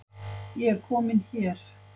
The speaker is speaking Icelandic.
Ég er komin hér